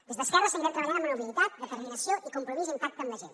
des d’esquerra seguirem treballant amb humilitat determinació i compromís intacte amb la gent